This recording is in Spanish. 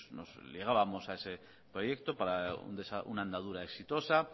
nos ligábamos a ese proyecto para una andadura exitosa